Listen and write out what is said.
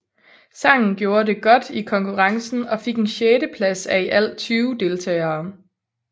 Sangen gjorde det godt i konkurrencen og fik en sjetteplads af i alt 20 deltagere